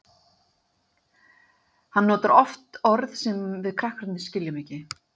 Hann notar oft orð sem við krakkarnir skiljum ekki.